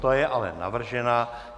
Ta je ale navržena.